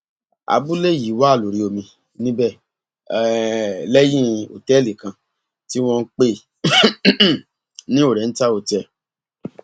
abúlé yìí wà lórí omi níbẹ um lẹyìn òtẹẹlì kan tí wọn ń pè um ní oriental hotel